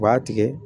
U b'a tigɛ